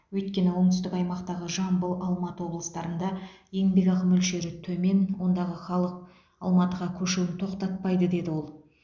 өйткені оңтүстік аймақтағы жамбыл алматы облыстарында еңбекақы мөлшері төмен ондағы халық алматыға көшуін тоқтатпайды деді ол